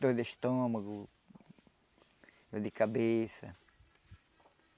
Dor de estômago, dor de cabeça.